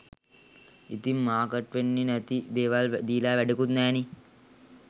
ඉතිං මාර්කට් වෙන්නෙ නැති දේවල් දීලා වැඩකුත් නෑනෙ